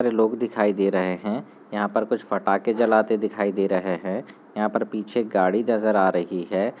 सारे लोग दिखाई दे रहे हैं यहाँ पर कुछ पटाखे जलाते दिखाई दे रहे है यहाँ पे पीछे गाड़ी नजर आ रही है।